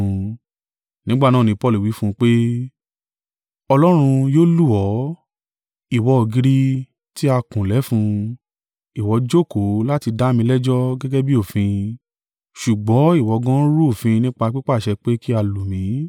Nígbà náà ni Paulu wí fún un pé, “Ọlọ́run yóò lù ọ́, ìwọ ògiri tí a kùn lẹ́fun: ìwọ jókòó láti dá mi lẹ́jọ́ gẹ́gẹ́ bí òfin, ṣùgbọ́n ìwọ gan an rú òfin nípa pípàṣẹ pé kí a lù mí!”